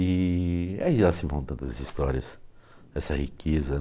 E aí já se vão tantas histórias dessa riqueza.